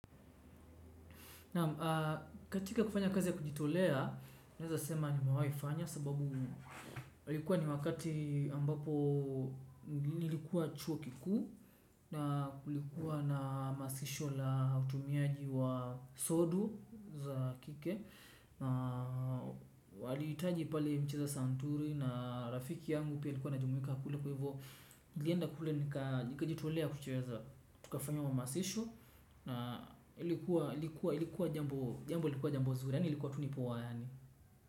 Naam katika kufanya kazi ya kujitolea, naeza sema nimewai fanya sababu alikuwa ni wakati ambapo nilikuwa chuo kikuu na kulikuwa na hamasisho la utumiaji wa sodu za kike na walihitaji pale mcheza santuri na rafiki yangu pia alikuwa ana jumuika kule kwa hivo nilienda kule nikajitolea kucheza tukafanya hamasisho ilikuwa jambo jambo zuri yaani ilikuwa tu ni poa yaani.